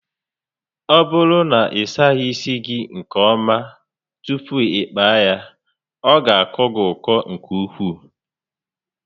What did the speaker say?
Ọ bụrụ na ị saghị isi gị nke ọma tupu ịkpaa ya, ọ ga akọ gị ọkọ nke ukwuu